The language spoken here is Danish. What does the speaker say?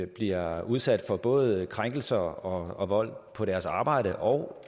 bliver udsat for både krænkelser og vold på deres arbejde og